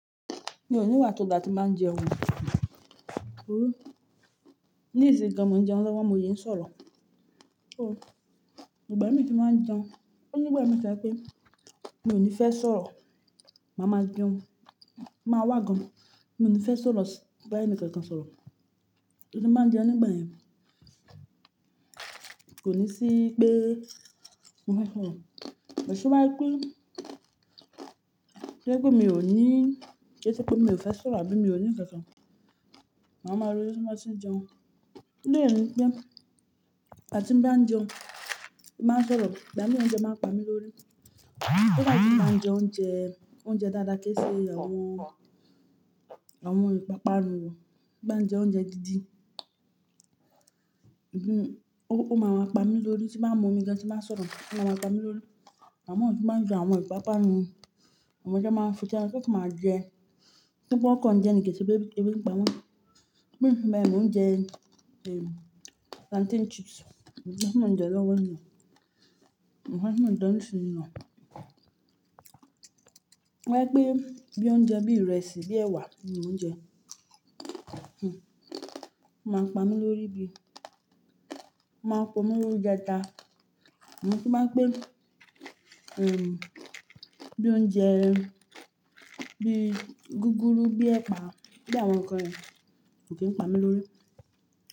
Mi ò níwà tó dáa tí n bàá ń jẹun. Ó ní ìsìn gan mo ń jẹun lọ́wọ́, mo sí ń sọ̀rọ̀. Ó, ìgbà mì tí n bàá ń jẹun, onígbà mìi to jẹ pé mi ò ní fẹ́ sọ̀rọ̀, màá máa jẹun, màá wá gan. Mi ò ní fẹ́ sọ̀rọ̀ sí, bá ènìkankan sọ̀rọ̀. Torí tí bàá ń jẹun nígbà yẹn kò ní sí pé mo fẹ́ sọ̀rọ̀. Toba pé jẹ́ pé, toba jẹ pe mi ò ní, kiise pé mi ò fẹ́ sọ̀rọ̀ àbí mi ò ní nnkankan, maa máa ro jọ ti mo ba ti n jẹun. To ri ẹ ni pé ìgbà ti n báa ń jẹun, ti n báa ń sọ̀rọ̀. Ìgbà mì ó ń jẹun máa ń pa mí lórí. Kódà ti n bá ń jẹ oúnjẹ, oúnjẹ dáadáa kí í ṣé àwọn, àwọn ìpápánu o. Ti n bá ń jẹ oúnjẹ dídí, ò, ó máa maá pa mí lórí tí bá ń mú omi gan tí màá sọ̀rọ̀, ó máa maá pa mí lórí. Ìgbà mii tí bá ń jẹ àwọn ìpápánu, àwọn oúnjẹ máa ń fi tán kí ẹ kú máa jẹ. Bí pé wọn kàn jẹ ni, kìí se pé ebi ń pawọ́n mi ò fi bẹ, mo ń jẹ, ehm, plantain chips. Òhun jẹ́ kí wọ́n jẹ lọ́wọ́ ina. Òún jẹ́ kí wọ́n jẹ ní isin nu tóbá jẹ́ pé bí oúnjẹ bí ìrẹsì, bí ẹ̀wà, mo ń jẹ, hm, ó máa ń pa mí lórí bí, ó máa ń pa mí lórí jẹta. Òún tí máa ń pé, ehm, bí oúnjẹ, bí gúgúrú, bí ẹ̀pà, bí àwọn nǹkan rẹ, ò kí ń pa mí lórí.